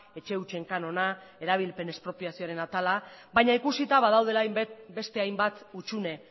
etxe hutsen kanona erabilpen espropiazioaren atala baina ikusita badaudela beste hainbat hutsune